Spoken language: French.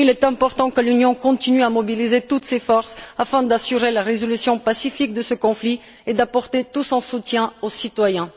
Il est important que l'Union continue à mobiliser toutes ses forces afin d'assurer la résolution pacifique de ce conflit et d'apporter tout son soutien aux citoyens.